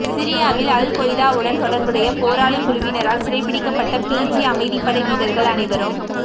சிரியாவில் அல்கொய்தாவுடன் தொடர்புடைய போராளிக் குழுவினரால் சிறைபிடிக்கப்பட்ட பிஜி அமைதிப்படை வீரர்கள் அனைவரும்